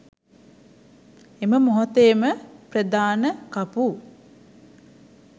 එම මොහොතේම ප්‍රධාන කපු